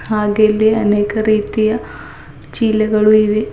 ಹಾಗೆ ಇಲ್ಲಿ ಅನೇಕ ರೀತಿಯ ಚೀಲಗಳು ಇವೆ.